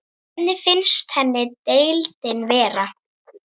Hvernig finnst henni deildin vera?